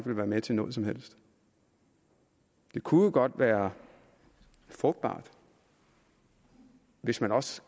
være med til noget som helst det kunne jo godt være frugtbart hvis man også